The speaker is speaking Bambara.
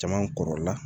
Caman kɔrɔ la